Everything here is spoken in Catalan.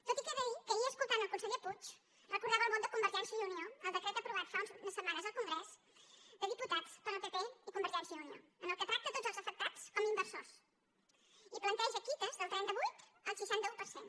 tot i que he de dir que ahir escoltant el conseller puig recordava el vot de convergència i unió al decret aprovat fa unes setmanes al congrés dels diputats pel pp i convergència i unió en què tracta tots els afectats com a inversors i planteja quitas del trenta vuit al seixanta un per cent